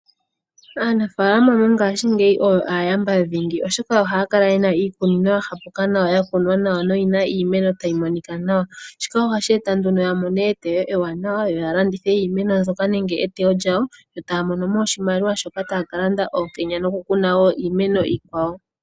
Aanafaalama mongashingeyi oyo aayamba dhingi, oshoka ohaya kala ye na iikunino ya hapuka nawa, ya kunwa nawa noyi na iimeno tayi monika nawa. Shika ohashi eta nduno ya mone eteyo ewanawa, yo ya landitha iimeno nenge eteyo lyawo yo taya mono mo oshimaliwa shoka taya ka landa oonkenya nokukuna wo iimeno iikwawo.